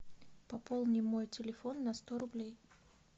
пополни мой телефон на сто рублей